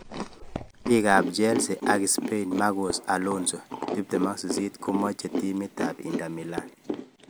Beki ab Chelsea ak Spain Marcos Alonso, 28 komoche timit ab Inter Milan.